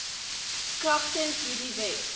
kragtens hierdie wet